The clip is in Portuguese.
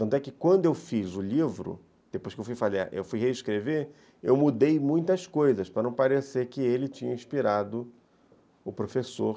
Tanto é que quando eu fiz o livro, depois que eu fui reescrever, eu mudei muitas coisas para não parecer que ele tinha inspirado o professor.